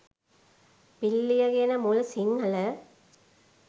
පිල්ලිය කියන මුල් සිංහල